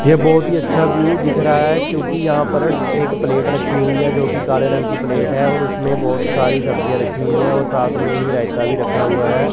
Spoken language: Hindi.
ये बहुत ही अच्छा व्यू दिख रहा है क्योंकि यहां पर एक प्लेट रखी हुई है जो कि काले रंग की प्लेट है और उसमे बहुत सारी सब्जियां रखी हुई है और साथ में ही रायता भी रखा हुआ है।